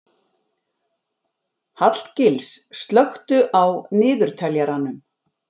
Hallgils, slökktu á niðurteljaranum.